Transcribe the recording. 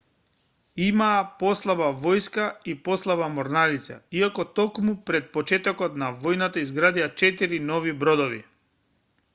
имаа послаба војска и послаба морнарица иако токму пред почетокот на војната изградија 4 нови бродови